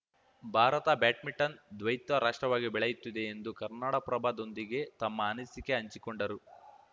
Bharat badminton ದ್ವೈತ ರಾಷ್ಟ್ರವಾಗಿ ಬೆಳೆಯುತ್ತಿದೆ ಎಂದು ಕನ್ನಡಪ್ರಭದೊಂದಿಗೆ ತಮ್ಮ ಅನಿಸಿಕೆ ಹಂಚಿಕೊಂಡರು